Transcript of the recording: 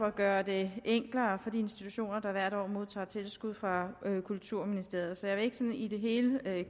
at gøre det enklere for de institutioner der hvert år modtager tilskud fra kulturministeriet så jeg vil ikke sådan i det hele